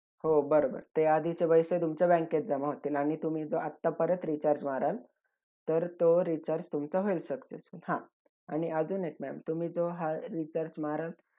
एकोणीसशे वीस रोजी असकार चळवळी त ठराव पास करण्यासाठी नागपूर येथे